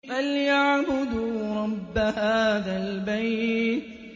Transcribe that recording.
فَلْيَعْبُدُوا رَبَّ هَٰذَا الْبَيْتِ